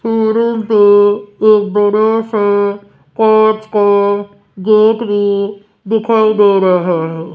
ये रूम पे एक बड़ा सा कांच का गेट भी दिखाई दे रहा है।